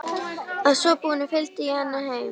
Að svo búnu fylgdi ég henni heim.